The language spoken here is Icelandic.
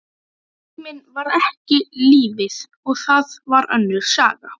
Tíminn var ekki lífið, og það var önnur saga.